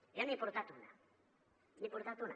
jo n’he portat una n’he portat una